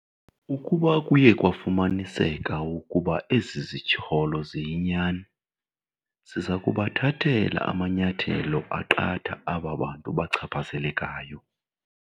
Ukuba kuye kwafumaniseka ukuba ezi zityholo ziyinyani, siza kubathathela amanyathelo aqatha aba bantu bachaphazelekayo.